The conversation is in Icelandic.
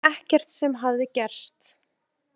Ekkert sem hafði gerst.